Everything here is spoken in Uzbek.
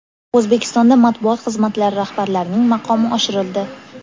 O‘zbekistonda matbuot xizmatlari rahbarlarining maqomi oshirildi.